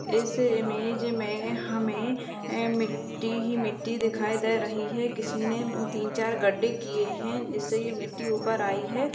इस इमेज में हमें ए मिट्टी ही मिट्टी दिखाई दे रही है किसी ने तीन-चार गड्ढे किये हैं जिससे ये मिटटी ऊपर आयी है।